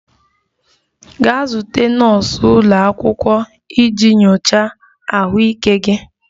Gaa zute nọọsụ ụlọ akwụkwọ iji nyochaa ahụike gị!